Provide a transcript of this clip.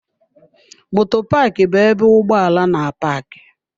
Moto Paaki bu ebe ụgbọ ala na-apaaki